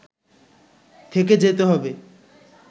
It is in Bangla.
থেকে যেতে হবে